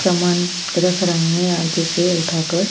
रख रहे हैं आगे से उठाकर।